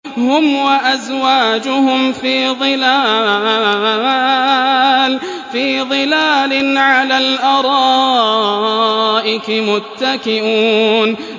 هُمْ وَأَزْوَاجُهُمْ فِي ظِلَالٍ عَلَى الْأَرَائِكِ مُتَّكِئُونَ